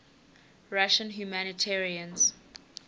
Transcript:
russian humanitarians